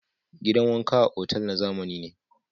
Gidan wanka a otal na zamani ne.